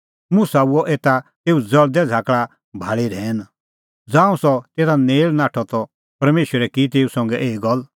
मुसा हुअ एता तेऊ ज़ल़दै झ़ाकल़ा भाल़ी रहैन ज़ांऊं सह तेता नेल़ नाठअ ता परमेशरै की तेऊ संघै एही गल्ला